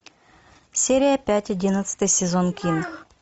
серия пять одиннадцатый сезон кинг